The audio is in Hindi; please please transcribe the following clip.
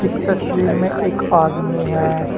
तस्वीर में एक आदमी है।